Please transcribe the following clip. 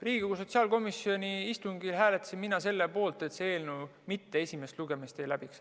Riigikogu sotsiaalkomisjoni istungil hääletasin mina selle poolt, et see eelnõu esimest lugemist ei läbiks.